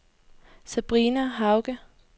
Sabrina Hauge